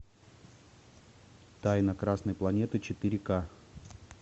тайна красной планеты четыре ка